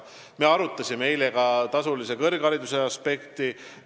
Me arutasime eile ka tasulise kõrghariduse aspekti.